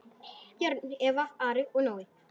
Börn: Eva, Ari og Nói.